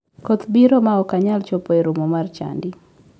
Koth biro ma ok anyal chopo e romo mar chadi.